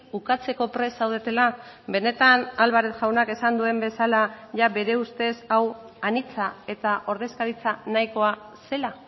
ukatzeko prest zaudetela benetan álvarez jaunak esan duen bezala jada bere ustez hau anitza eta ordezkaritza nahikoa zela